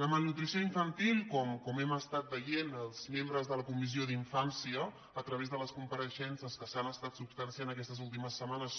la malnutrició infantil com hem estat veient els membres de la comissió de la infància a través de les compareixences que s’han estat substanciant aquestes últimes setmanes